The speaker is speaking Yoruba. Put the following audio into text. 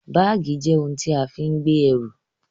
Báàgì jẹ́ ohun tí a fi ń gbé ẹrù